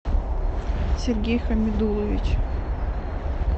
сергей хамидуллович